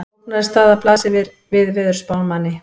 Flóknari staða blasir við veðurspámanni.